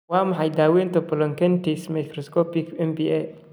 Waa maxay daaweynta polyangiitis microscopic (MPA)?